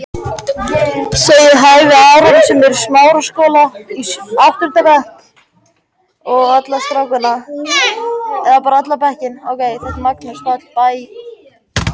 Fyrripart næsta dags var stólparok og ausandi rigning, en móðir